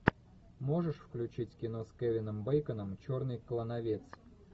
можешь включить кино с кевином бейконом черный клановец